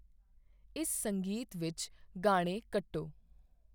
ਇਸ ਸੰਗੀਤ ਵਿੱਚ ਗਾਣੇ ਕੱਟੋ